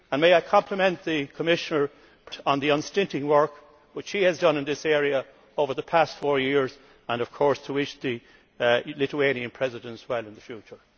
May I compliment the Commissioner on the unstinting work which she has done in this area over the past four years and, of course, wish the Lithuanian Presidency well in the future.